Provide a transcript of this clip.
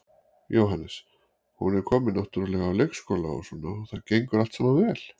Jóhannes: Hún er komin náttúrulega á leikskóla og svona og það gengur allt saman vel?